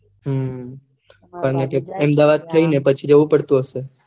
હમ અને ત્યાં અમદાવાદ માં થઇ ને પછી જાઉં પડતું હશે